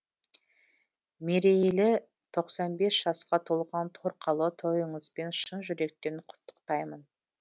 мерейлі тоқсан бес жасқа толған торқалы тойыңызбен шын жүректен құттықтаймын